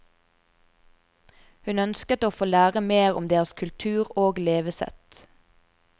Hun ønsket å få lære mer om deres kultur og levesett.